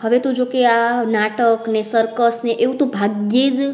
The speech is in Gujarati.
હવે તું જો કે આ નાટક ને circus ને એવું ભાગ્ય જ